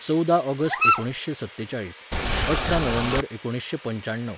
चौदा ऑगस्ट एकुणीशें सत्तेचाळीस, अठरा नोव्हेंबर एकुणीशें पंचाण्णव